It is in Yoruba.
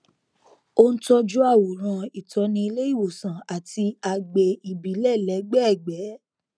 ó n tọjú àwòrán ìtọni ilé ìwòsàn àti agbè ìbílẹ lẹgbẹẹgbẹ